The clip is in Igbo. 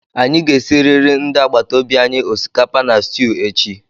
Anyị ga-esiriri ndị agbata obi anyị osikapa na stwu echi